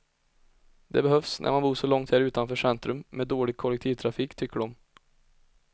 Det behövs när man bor så här långt utanför centrum, med dålig kollektivtrafik, tycker de.